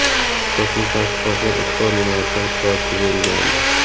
kosmik tadqiqotlar ustuvor yo‘nalishlar sifatida belgilandi.